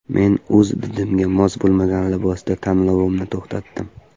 Men o‘z didimga mos bo‘lmagan libosda tanlovimni to‘xtatdim.